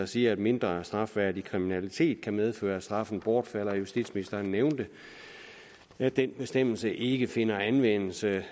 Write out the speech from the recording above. siger at mindre strafværdig kriminalitet kan medføre at straffen bortfalder justitsministeren nævnte at den bestemmelse ikke finder anvendelse